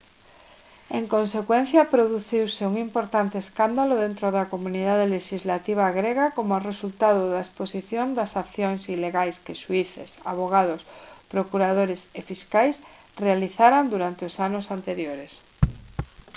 en consecuencia produciuse un importante escándalo dentro da comunidade lexislativa grega como resultado da exposición das accións ilegais que xuíces avogados procuradores e fiscais realizaran durante os anos anteriores